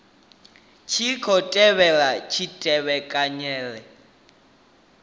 tshi khou tevhelwa kutevhekanele uku